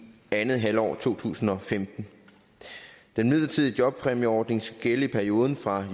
andet halvår af to tusind og femten den midlertidige jobpræmieordning skal gælde i perioden fra